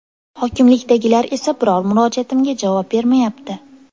Hokimlikdagilar esa biror murojaatimga javob bermayapti.